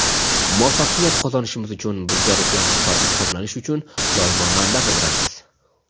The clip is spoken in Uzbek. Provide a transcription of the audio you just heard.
muvaffaqiyat qozonishimiz uchun bizga ruhlanish va ilhomlanish uchun doimo manba qidiramiz.